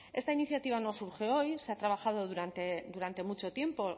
esta iniciativa no surge hoy se ha trabajado durante mucho tiempo